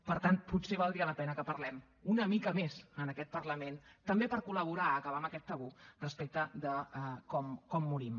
per tant potser valdria la pena que parlem una mica més en aquest parlament també per col·laborar a acabar amb aquest tabú respecte de com morim